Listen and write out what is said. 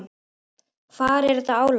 Hvar er þetta álag?